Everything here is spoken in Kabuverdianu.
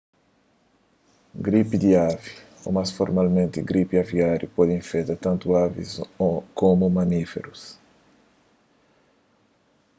gripi di avi ô más formalmenti gripi aviáriu pode infeta tantu avis komu mamíferus